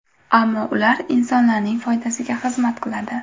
Ammo ular insonlarning foydasiga xizmat qiladi.